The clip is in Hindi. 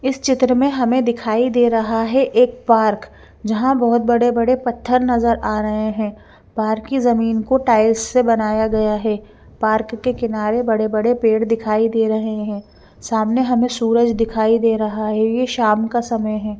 इस चित्र में हमे दिखाई दे रहा है एक पार्क जहा बहोत बड़े बड़े पथर नज़र आ रहे है पार्क की जमीन को टाइल्स से बनाया गया है पार्क के किनारे बड़े बड़े पेड़ दिखाई दे रहे है सामने हमे सूरज दिखाई दे रहा है ये शाम का समय है।